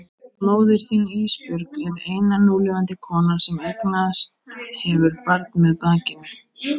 Móðir þín Ísbjörg er eina núlifandi konan sem eignast hefur barn með bakinu.